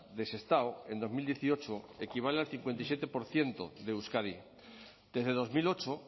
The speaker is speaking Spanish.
de sestao en dos mil dieciocho equivale al cincuenta y siete por ciento de euskadi desde dos mil ocho